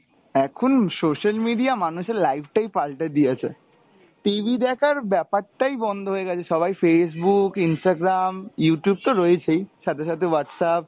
এখন social media মানুষের life টাই পাল্টে দিয়েছে, TV দেখার ব্যাপারটাই বন্ধ হয়ে গেছে, সবাই Facebook Instagram Youtube তো রয়েছেই সাথে সাথে Whatsapp,